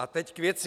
A teď k věci.